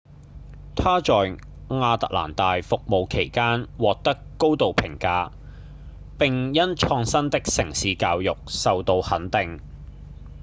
她在亞特蘭大服務期間獲得高度評價並因創新的城市教育受到肯定